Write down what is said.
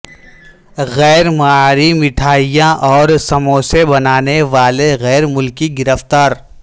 غیر معیاری مٹھائیاں اور سموسے بنانے والے غیرملکی گرفتار